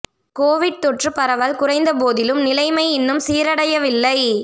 Covid தொற்று பரவல் குறைந்த போதிலும் நிலைமை இன்னும் சீரடையவில்லை